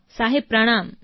સાહેબ પ્રણામ